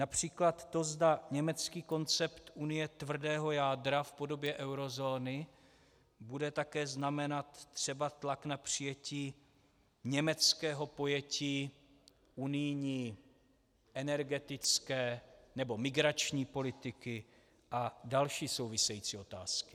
Například to, zda německý koncept Unie tvrdého jádra v podobě eurozóny bude také znamenat třeba tlak na přijetí německého pojetí unijní, energetické, nebo migrační politiky a další související otázky.